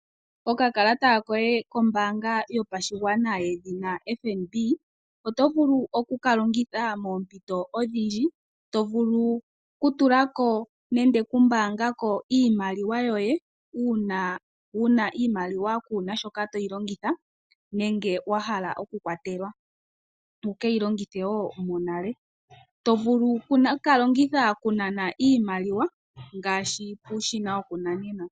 Okakalata koye kombaanga yopashigwana yedhina FNB oto vulu oku ka longitha moompito odhindji. To vulu okutula ko nenge okumbaanga ko iimaliwa yoye uuna wu na iimaliwa kuu na shi toyi longitha nenge wa hala okukwatelwa wu keyi longithe wo monale. Oto vulu oku ka longitha okunana iimaliwa ngaashi puushina wokunanena.